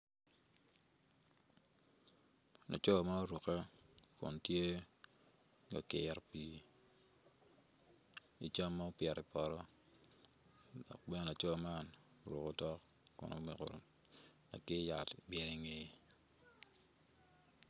Laco ma orukke kun tye ka kiro pii i cam ma opito i poto dok bene laco man oruko tok kun oruko lakir yat obyelo ingeye.